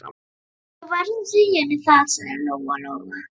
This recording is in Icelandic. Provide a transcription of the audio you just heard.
Þú verður að segja henni það, sagði Lóa-Lóa.